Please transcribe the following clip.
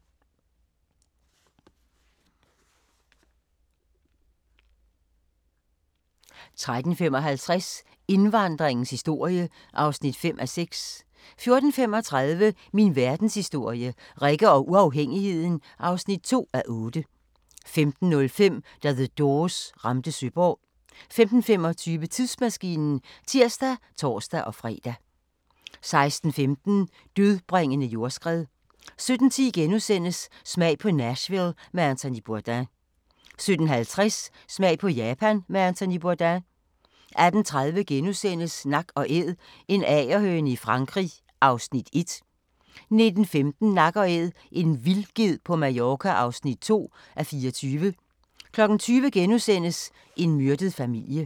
13:55: Indvandringens historie (5:6) 14:35: Min verdenshistorie – Rikke og uafhængigheden (2:8) 15:05: Da The Doors ramte Søborg 15:25: Tidsmaskinen (tir og tor-fre) 16:15: Dødbringende jordskred 17:10: Smag på Nashville med Anthony Bourdain * 17:50: Smag på Japan med Anthony Bourdain 18:30: Nak & Æd – en agerhøne i Frankrig (1:24)* 19:15: Nak & Æd – en vildged på Mallorca (2:24) 20:00: En myrdet familie *